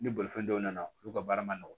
Ni bolifɛn dɔw nana olu ka baara ma nɔgɔn